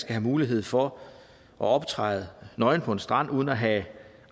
have mulighed for at optræde nøgen på en strand uden at have